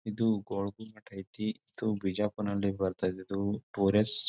ಇದು ಗೋಳಗ್ಗುಮಟ್ ಐತಿ ಇದು ಬಿಜಾಪುರ್ನಲ್ಲಿ ಬರತ್ತಾ ಇದ್ದುದು ಪೋರೆಸ್ .